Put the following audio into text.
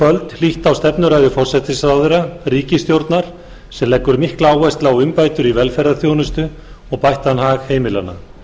hlýtt á stefnuræðu forsætisráðherra ríkisstjórnar sem leggur mikla áherslu á umbætur í velferðarþjónustu og bættan hag heimilanna